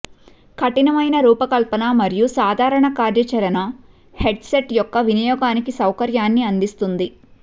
కఠినమైన రూపకల్పన మరియు సాధారణ కార్యాచరణ హెడ్సెట్ యొక్క వినియోగానికి సౌకర్యాన్ని అందిస్తుంది